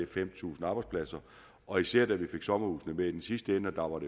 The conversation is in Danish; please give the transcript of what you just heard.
fem tusind arbejdspladser og især da vi fik sommerhusene med i den sidste ende og